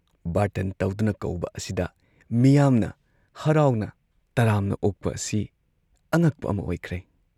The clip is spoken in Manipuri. ꯕꯥꯔꯇꯟ ꯇꯧꯗꯨꯅ ꯀꯧꯕ ꯑꯁꯤꯗ ꯃꯤꯌꯥꯝꯅ ꯍꯔꯥꯎꯅ ꯇꯔꯥꯝꯅ ꯑꯣꯛꯄ ꯑꯁꯤ ꯑꯉꯛꯄ ꯑꯃ ꯑꯣꯏꯈ꯭ꯔꯦ ꯫